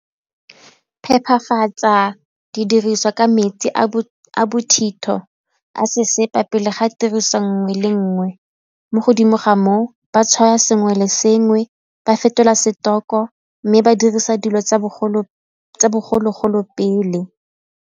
Phephafatsa didiriswa ka metsi a bothitho a sesepa pele ga tiriswa lnngwe le nngwe mo godimo ga moo ba tshwaya sengwe le sengwe, ba fetola mme ba dirisa dilo tsa bogologolo pele.